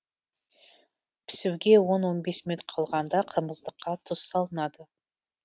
пісуге он он бес минут қалғанда қымыздыққа тұз салынады